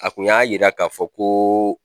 A kun y'a yira k'a fɔ ko